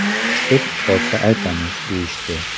Chiqib qolsa aytamiz, deyishdi.